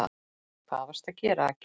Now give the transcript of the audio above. Hvað varstu að gera, Aggi.